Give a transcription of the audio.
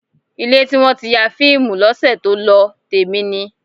Ilé tí wọ́n ti ya fíìmù lọ́sẹ̀ tó lọ, tèmi ni.